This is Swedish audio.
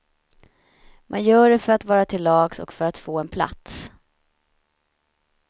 Man gör det för att vara till lags, och för att få en plats.